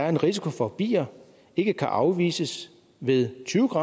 en risiko for bier ikke kan afvises ved tyve